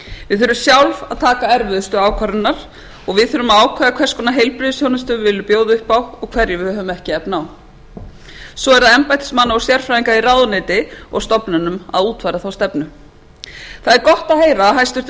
við þurfum sjálf að taka erfiðustu ákvarðanirnar og við þurfum að ákveða hvers konar heilbrigðisþjónustu við viljum bjóða upp á og hverju við höfum ekki efni á svo er embættismanna og sérfræðinga í ráðuneyti og stofnunum að útfæra þá stefnu það er gott að heyra að hæstvirtur